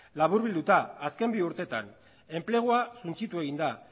laburbilduta azken bi urtetan enplegua suntsitu egin da